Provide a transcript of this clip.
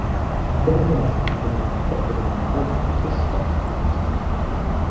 Þriðja markið kom úr vítaspyrnu sem Albert fiskaði!